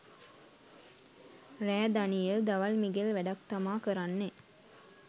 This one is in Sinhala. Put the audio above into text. රෑ දනියෙල් දවල් මිගෙල් වැඩක් තමා කරන්නේ